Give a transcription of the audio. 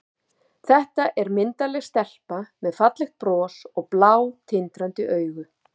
Þetta er myndarleg stelpa með fallegt bros og blá, tindrandi augu.